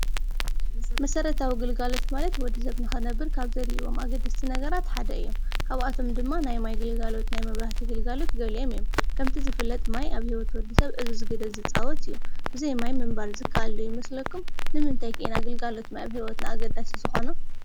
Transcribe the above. መሰረታዊ ግልጋሎት ማለት ወድ-ሰብ ንክነብር ካብ ዘድልይዎም ኣገደስቲ ነገራት ሓደ እዩ ።ካብኣቶም ድማ ናይ ማይ ግልጋሎት ፣ናይ መብራህቲ ግልጋሎት ገሊኦም እዮም ።ከምቲ ዝፍለጥ ማይ ኣብ ሂወት ወድሰብ ዕዙዝ ግደ ዝፃወት እዩ ። ብዘይ ማይ ምንባር ዝከኣል ዶ ይመስለኩም ንምንታይ ከ ኢና ግልጋሎት ማይ ኣብ ሂወትና ኣገዳሲ ዝኮነ ?